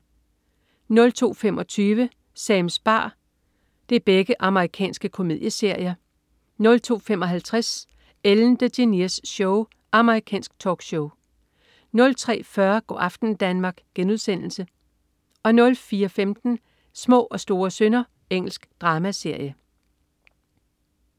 02.25 Sams bar. Amerikansk komedieserie 02.55 Ellen DeGeneres Show. Amerikansk talkshow 03.40 Go' aften Danmark* 04.15 Små og store synder. Engelsk dramaserie